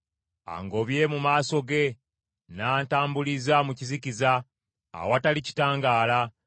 Angobye mu maaso ge n’antambuliza mu kizikiza, awatali kitangaala;